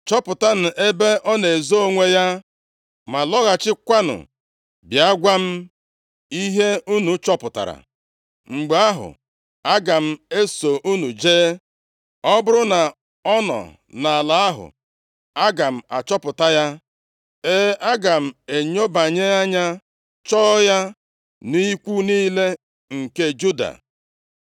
Chọpụtanụ ebe ọ na-ezo onwe ya ma lọghachikwanụ bịa gwa m ihe unu chọpụtara. Mgbe ahụ, aga m eso unu jee. Ọ bụrụ na ọ nọ nʼala ahụ, aga m achọpụta ya; e, aga m enyobanye anya chọọ ya nʼikwu niile nke Juda.”